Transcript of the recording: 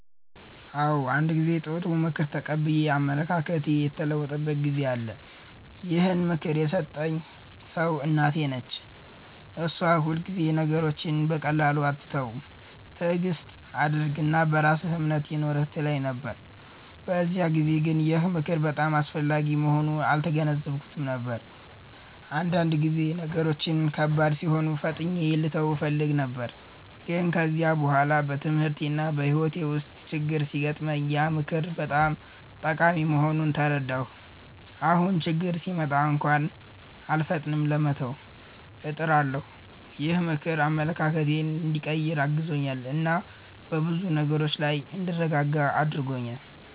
አዎ፣ አንድ ጊዜ ጥሩ ምክር ተቀብዬ አመለካከቴ የተለወጠበት ጊዜ አለ። ይህን ምክር የሰጠኝ ሰው እናቴ ነች። እሷ ሁልጊዜ “ነገሮችን በቀላሉ አትተው፣ ትዕግስት አድርግ እና በራስህ እምነት ይኑርህ” ትለኝ ነበር። በዚያን ጊዜ ግን ይህ ምክር በጣም አስፈላጊ መሆኑን አልተገነዘብኩትም ነበር፤ አንዳንድ ጊዜ ነገሮች ከባድ ሲሆኑ ፈጥኜ ልተው እፈልግ ነበር። ግን ከጊዜ በኋላ በትምህርቴና በሕይወቴ ውስጥ ችግኝ ሲገጥመኝ ያ ምክር በጣም ጠቃሚ መሆኑን ተረዳሁ። አሁን ችግኝ ሲመጣ እንኳን አልፈጥንም ለመተው፣ እጥራለሁ። ይህ ምክር አመለካከቴን እንዲቀይር አግዞኛል እና በብዙ ነገሮች ላይ እንድረጋጋ አድርጎኛል።